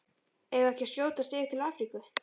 Eigum við ekki að skjótast yfir til Afríku?